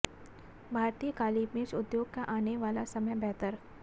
भारतीय काली मिर्च उद्योग का आने वाला समय बेहतर